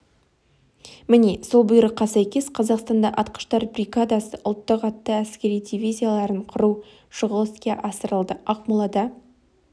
міне сол бұйрыққа сәйкес қазақстанда атқыштар бригадасы ұлттық атты әскер дивизияларын құру шұғыл іске асырылды ақмолада